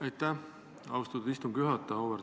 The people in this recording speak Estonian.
Aitäh, austatud istungi juhataja!